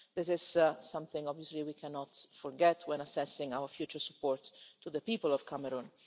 This is something, obviously, we cannot forget when assessing our future support to the people of Cameroon.